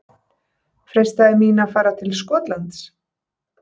Freistaði mín að fara til Skotlands?